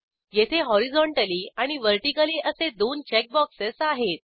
येथे हॉरिझोंटली आणि व्हर्टिकली असे दोन चेक बॉक्सेस आहेत